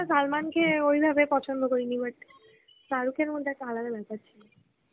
সালমানকে ওইভাবে পছন্দ করিনি but শাহরুখের মধ্যে একটা আলাদা ব্যাপার ছিল.